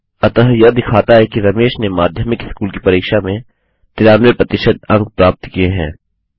अतः यह दिखाता है कि रमेश ने माध्यमिक स्कूल की परीक्षा में 93 प्रतिशत अंक प्राप्त किए है